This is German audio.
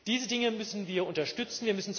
Diese Dinge müssen wir unterstützen!